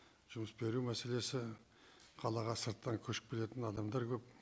жұмыс беру мәселесі қалаға сырттан көшіп келетін адамдар көп